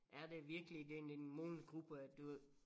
Er det virkelig den immun gruppe at du